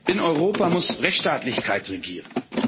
In Europa muss Rechtsstaatlichkeit regieren.